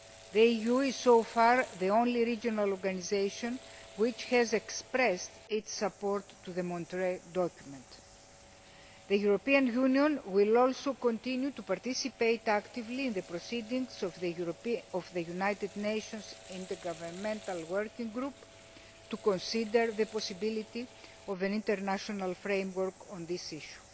The EU is so far the only regional organisation which has expressed its support for the Montreux Document. The European Union will also continue to participate actively in the proceedings of the United Nations in the governmental working group, to consider the possibility of an international framework on this issue.